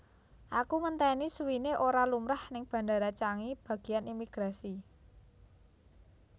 Aku ngenteni suwine ora lumrah ning Bandara Changi bagian imigrasi